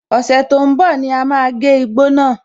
Ọ̀sẹ̀ tó ń bọ̀ ní à máa gé igbó náà.